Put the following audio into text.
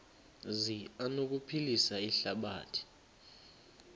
zi anokuphilisa ihlabathi